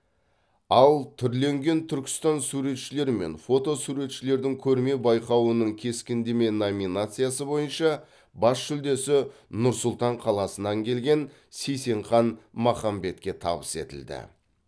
ал түрленген түркістан суретшілер мен фото суретшілердің көрме байқауының кескіндеме номинациясы бойынша бас жүлдесі нұр сұлтан қаласынан келген сейсенхан махамбетке табыс етілді